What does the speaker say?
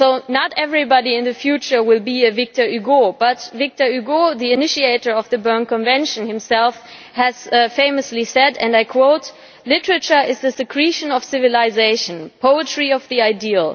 Not everybody in the future will be a Victor Hugo, but Victor Hugo the initiator of the Berne Convention himself famously said, and I quote, Literature is the secretion of civilisation, poetry of the ideal.